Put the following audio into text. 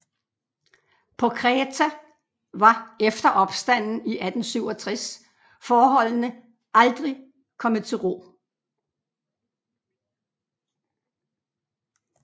På Kreta var efter opstanden i 1867 forholdene aldrig komne til ro